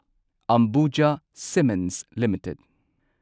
Ambuja Cements limited